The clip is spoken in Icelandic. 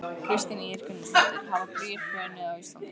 Kristín Ýr Gunnarsdóttir: Hafa brýr hrunið á Íslandi?